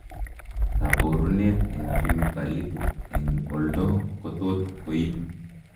Kaboruneet eng' chemicalik eng' oldo kotot koib